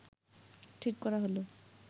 ঠিক করা হল